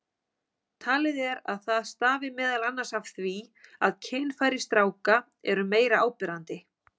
Talið er að það stafi meðal annars af því að kynfæri stráka eru meira áberandi.